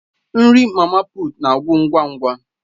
Nri mama puut na-agwụ ngwa ngwa.